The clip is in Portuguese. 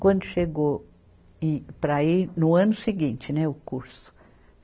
Quando chegou em, para ir, no ano seguinte, né, o curso.